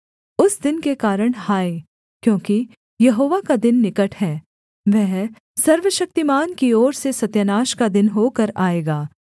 उस दिन के कारण हाय क्योंकि यहोवा का दिन निकट है वह सर्वशक्तिमान की ओर से सत्यानाश का दिन होकर आएगा